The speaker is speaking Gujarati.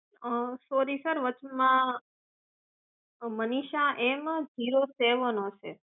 અં સોરી સર વચમાં મનીષા એમ ઝીરો સેવન હશે